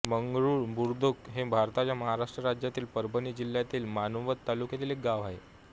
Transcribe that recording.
मंगरूळ बुद्रुक हे भारताच्या महाराष्ट्र राज्यातील परभणी जिल्ह्यातील मानवत तालुक्यातील एक गाव आहे